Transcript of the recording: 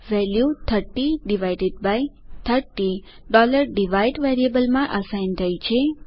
value 3030 divide વેરિયેબલમાં assign થઇ છે